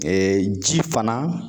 ji fana